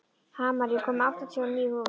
Hamar, ég kom með áttatíu og níu húfur!